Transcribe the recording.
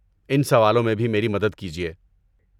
ان سوالوں میں بھی میری مدد کیجیے۔